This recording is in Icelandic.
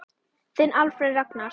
Þinn Alfreð Ragnar.